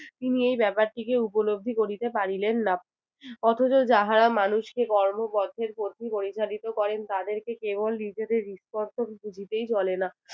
তিনি এই ব্যাপারটিকে উপলব্ধি করিতে পারিলেন না। অথচ যাহার মানুষকে কর্মবদ্ধের পথে পরিচালিত করেন তাদেরকে কেবল নিজেদের বুঝিতেই চলে না